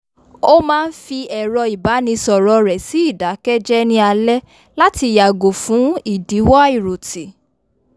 ó máa n fi ẹ̀rọ ìbánisọ̀rọ̀ rẹ sí idakẹjẹ ní alé láti yàgò fún idiwọ àiròtì